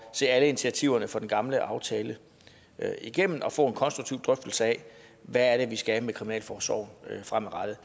se alle initiativerne fra den gamle aftale igennem og få en konstruktiv drøftelse af hvad vi fremadrettet skal med kriminalforsorgen